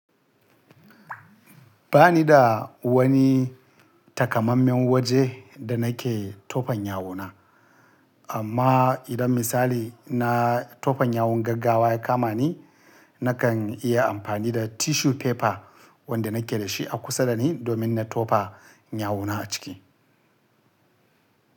Ba ni da wani takamammen waje da nake tofon yawo na. Amma idan misali na tofon yawon gaggawa ya kama ni, nakan iya amfani da tissue paper wanda nake da shi a kusa da ni domin na tofa yawo na a ciki.